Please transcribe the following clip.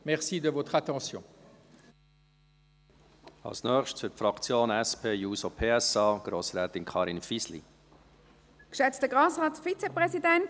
Für die SP-JUSO-PSA-Fraktion hat Grossrätin Karin Fisli das Wort.